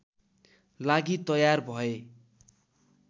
लागि तयार भए